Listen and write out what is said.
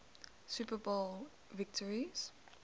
super bowl victories